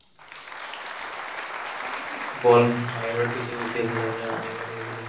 ball বাহিৰত গুচি গৈছিল আমি আনিবলে গৈছিলো